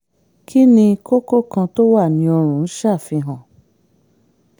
kí ni kókó kan tó wà ní ọrùn ń ṣàfihàn?